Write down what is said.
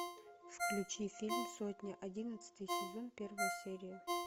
включи фильм сотня одиннадцатый сезон первая серия